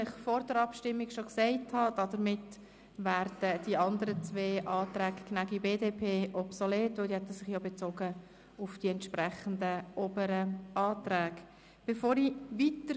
Wie ich Ihnen vor der Abstimmung gesagt habe, werden die zwei anderen Anträge, Gnägi, BDP, obsolet, da sich diese sich auf die entsprechenden oberen Anträge bezogen hätten.